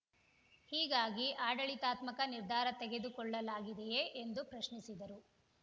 ಹೀಗಾಗಿ ಆಡಳಿತಾತ್ಮಕ ನಿರ್ಧಾರ ತೆಗೆದುಕೊಳ್ಳಲಾಗಿದೆಯೇ ಎಂದು ಪ್ರಶ್ನಿಸಿದರು